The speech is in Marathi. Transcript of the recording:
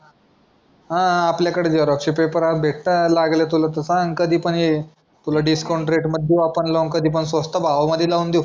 हां, हां आपल्याकडे झेरॉक्सचे पेपर भेटातात लागले तुला तर सांग कधी पण ये. तुला दिस्काऊंत रेट मध्ये लाऊन देऊ आपण भावा स्वस्त भावा मध्ये लाऊन देऊ.